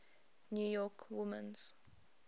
new york women's